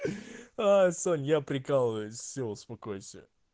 а сым я прикалываюсь все успокойся